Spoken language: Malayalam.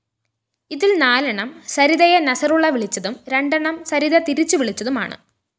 ഇതില്‍ നാലെണ്ണം സരിതയെ നസറുള്ള വിളിച്ചതും രണ്ടെണ്ണം സരിത തിരിച്ചുവിളിച്ചതുമാണ്